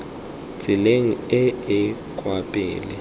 tseleng e e kwa pele